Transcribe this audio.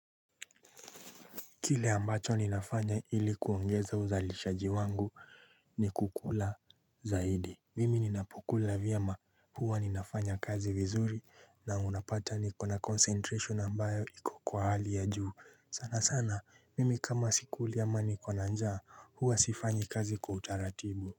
Kile ambacho ninafanya ilikuongeza uzalishaji wangu ni kukula zaidi. Mimi ninapokula vyema huwa ninafanya kazi vizuri na unapata nikona concentration ambayo iko kwa hali ya juu. Sana sana mimi kama sikuli ama niko na njaa huwa sifanyi kazi kwa utaratibu.